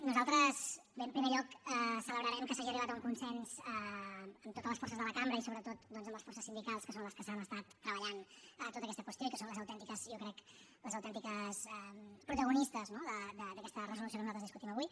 nosaltres bé en primer lloc celebrarem que s’hagi arribat a un consens amb totes les forces de la cambra i sobretot doncs amb les forces sindicals que són les que s’han estat treballant tota aquesta qüestió i que són les autèntiques jo crec protagonistes no d’aquesta resolució que nosaltres discutim avui